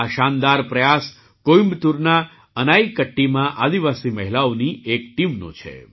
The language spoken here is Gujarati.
આ શાનદાર પ્રયાસ કોઇમ્બતૂરના અનાઈકટ્ટીમાં આદિવાસી મહિલાઓની એક ટીમનો છે